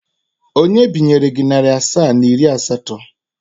Onye binyere gị narị asaa na iri asatọ?